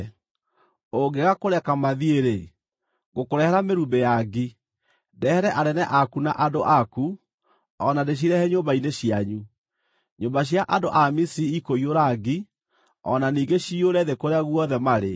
Ũngĩaga kũreka mathiĩ-rĩ, ngũkũrehera mĩrumbĩ ya ngi, ndehere anene aku na andũ aku, o na ndĩcirehe nyũmba-inĩ cianyu. Nyũmba cia andũ a Misiri ikũiyũra ngi, o na ningĩ ciyũre thĩ kũrĩa guothe marĩ.